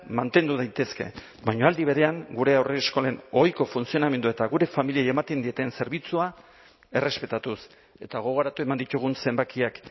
mantendu daitezke baina aldi berean gure haurreskolen ohiko funtzionamendua eta gure familiei ematen dieten zerbitzua errespetatuz eta gogoratu eman ditugun zenbakiak